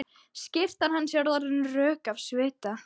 Skyrtan hans er orðin rök af svita.